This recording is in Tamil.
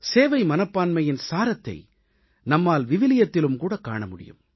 சேவை மனப்பான்மையின் சாரத்தை நம்மால் விவிலியத்திலும் கூடக் காண முடியும்